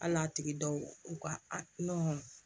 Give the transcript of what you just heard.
Hali n'a tigi dɔw u ka a